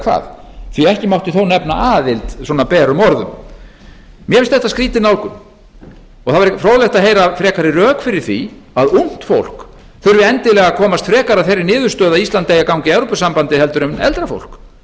hvað því að ekki mátti þó nefna aðild svona berum orðum mér finnst þetta skrýtin nálgun og það væri fróðlegt að heyra frekari rök fyrir því að ungt fólk þurfi endilega að komast frekar að þeirri niðurstöðu að ísland eigi að ganga í evrópusambandið en eldra fólk hvers